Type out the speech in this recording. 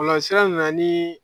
Bɔlɔlɔsira nana ni